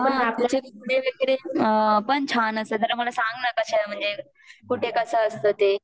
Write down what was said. पण छान असेल तर मला सांग ना कशे आहे म्हणजे कुठे कस असत ते